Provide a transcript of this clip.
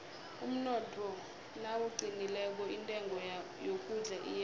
umnotho nawuqinileko intengo yokudla iyehla